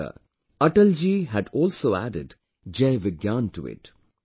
Later, Atal ji had also added Jai Vigyan to it